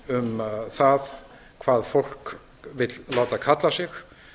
um það hvað fólk vill láta kalla sig